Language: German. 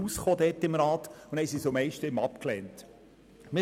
Deswegen wurde das Ganze mit einer Stimme Unterschied abgelehnt worden.